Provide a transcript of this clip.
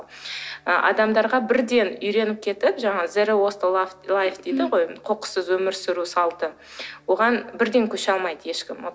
ы адамдарға бірден үйреніп кетіп жаңағы дейді ғой қоқыссыз өмір сүру салты оған бірден көше алмайды ешкім